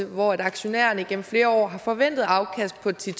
hvor aktionærerne igennem flere år har forventede afkast på ti